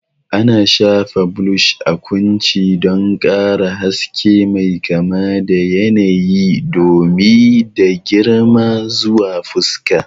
Ana shafa blush a kunci don ƙara haske mai kama da yanayi, dumi, da girma zuwa fuska.